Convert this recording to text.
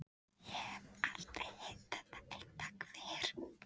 Ég hef aldrei hitt þetta eintak fyrr.